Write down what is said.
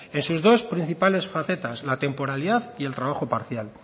en sus dos principales facetas la temporalidad y el trabajo parcial